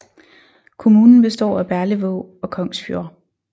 Kommunen består af Berlevåg og Kongsfjord